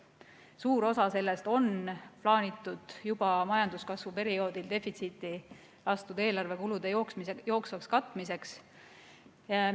Suur osa sellest on plaanitud juba majanduskasvu perioodil defitsiiti lastud eelarve kulude jooksvaks katmiseks.